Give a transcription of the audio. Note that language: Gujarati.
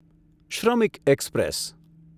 શ્રમિક એક્સપ્રેસ